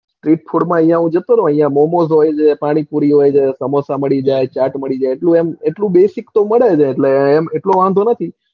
streetfood માં અહીંયા હું ગયો હતો ને મોમોસ વળી પાણીપુરી સમોસા મળી જાય ચેટ મળી જાય એટલું તો basic તો મળી જાય એટલે વાંધો નથી.